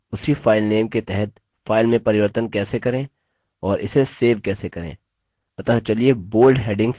आगे आप देखेंगे कि उसी file के तहत फाइल में परिवर्तन कैसे करें और इसे सेव कैसे करें